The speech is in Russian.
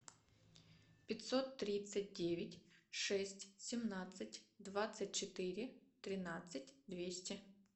пятьсот тридцать девять шесть семнадцать двадцать четыре тринадцать двести